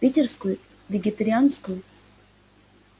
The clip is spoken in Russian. питерскую вегетарианскую